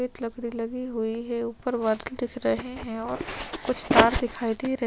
सफ़ेद लकड़ी लगी हुई है ऊपर बादल दिख रहे हैं और कुछ कार दिखाई दे रहे--